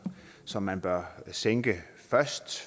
som man bør sænke først